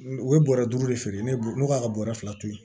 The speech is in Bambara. U ye bɔrɛ duuru de feere ne k'a ka bɔrɛ fila to ye